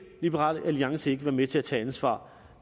liberal alliance ikke være med til at tage ansvar